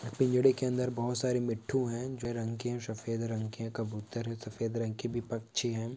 पिंजड़े के अंदर बहुत सारे मिट्ठू है जो हरे रंग के और सफ़ेद रंग के कबूतर है और सफ़ेद रंग के भी पक्षी है।